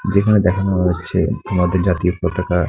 যেখানে দেখানো হচ্ছে আমাদের জাতীয় পতাকা।